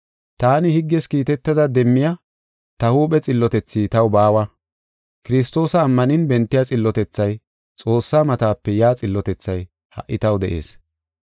Taani higges kiitetada demmiya ta huuphe xillotethi taw baawa. Kiristoosa ammanin bentiya xillotethay, Xoossaa matape yaa xillotethay ha77i taw de7ees.